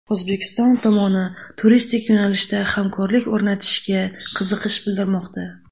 O‘zbekiston tomoni turistik yo‘nalishda hamkorlik o‘rnatishga qiziqish bildirmoqda.